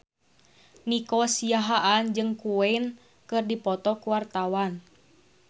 Nico Siahaan jeung Queen keur dipoto ku wartawan